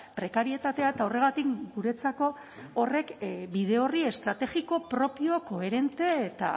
prekarietatea eta horregatik guretzako horrek bide orri estrategiko propio koherente eta